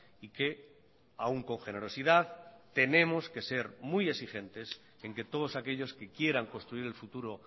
y que aún con generosidad tenemos que ser muy exigentes en que todos aquellos que quieran construir el futuro